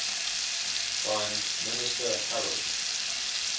prime minister harold